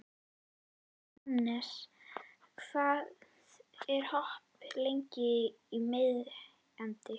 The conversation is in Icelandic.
Annes, hvað er opið lengi í Miðeind?